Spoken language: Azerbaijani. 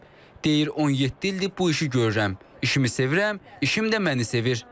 Deyir 17 ildir bu işi görürəm, işimi sevirəm, işim də məni sevir.